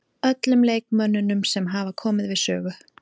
Öllum leikmönnunum sem hafa komið við sögu.